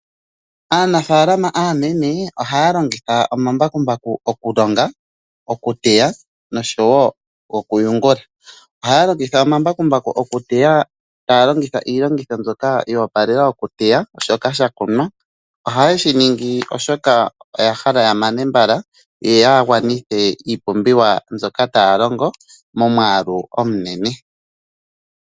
Aanafalama aanene ohaya longitha omambakumbaku okulonga, okuteya noshowo okuyungula. Ohaya longitha omambakumbaku okuteya taya longitha iilongitho mbyoka yo opalela okuteya shoka sha kunwa. Ohaye shi ningi oshoka oya hala ya mane mbala, yo ya gwanithe iipumbiwa mbyoka taya longo momwaalu omunene.